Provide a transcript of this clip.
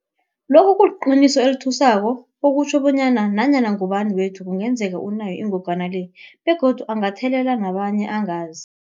Lokhu kuliqiniso elithusako okutjho bonyana nanyana ngubani wethu kungenzeka unayo ingogwana le begodu angathelela nabanye angazi.